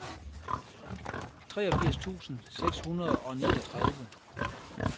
treogfirs tusind seks hundrede og niogtredive